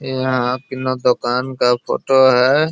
यहाँ अ किन्नो दुकान का फ़ोटो है।